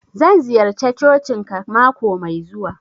Zan ziyarce cocin ka mako mai zuwa.